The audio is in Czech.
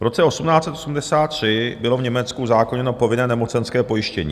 V roce 1883 bylo v Německu uzákoněno povinné nemocenské pojištění.